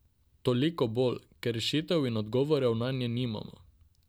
Toliko bolj, ker rešitev in odgovorov nanje nimamo.